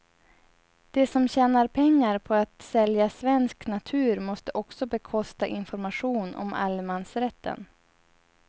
De som tjänar pengar på att sälja svensk natur måste också bekosta information om allemansrätten.